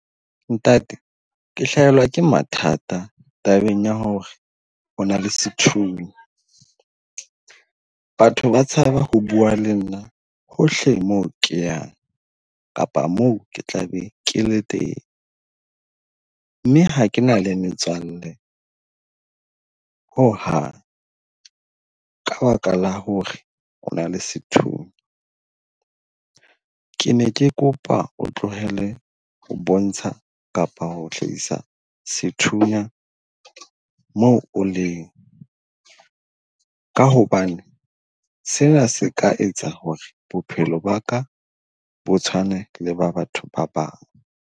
Ntate, ke hlahelwa ke mathata tabeng ya hore o na le sethunya. Batho ba tshaba ho bua le nna hohle mo keyang kapa moo ke tla be ke le teng mme ha ke na le metswalle ho hang. Ka baka la hore o na le sethunya. Ke ne ke kopa o tlohele ho bontsha kapa ho hlahisa sethunya moo o leng. Ka hobane sena se ka etsa hore bophelo ba ka bo tshwane le ba batho ba bang.